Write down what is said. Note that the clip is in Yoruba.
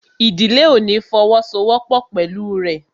Ìdílé ò ní fọwọ́ sọ wọ́pọ̀ pẹ̀lú rẹ̀